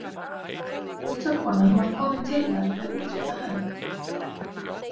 Litla konan var komin til hennar með útrétta hönd.